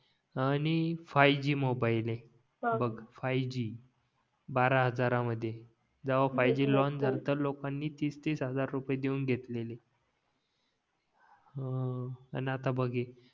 आणि five G mobile आहे बघ फाय जी बारा हजार मध्ये जेव्हा फाय जी लाँच झलता लोकांनी तीस तीस हजार रुपये देऊन घेतलेली हां आणि आता बघ हे